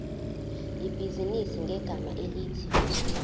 ibhizinisi ngegama elithi